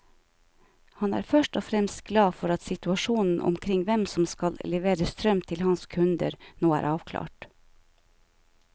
Han er først og fremst glad for at situasjonen omkring hvem som skal levere strøm til hans kunder, nå er avklart.